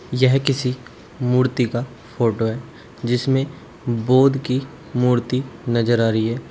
यह किसी मूर्ति का फोटो है जिसमें बोध की मूर्ति नजर आ रही है।